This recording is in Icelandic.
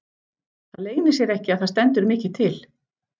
Það leynir sér ekki að það stendur mikið til.